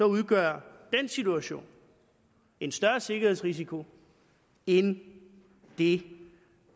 udgør den situation en større sikkerhedsrisiko end det